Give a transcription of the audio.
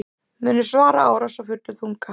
Munu svara árás af fullum þunga